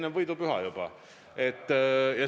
Enne võidupüha juba.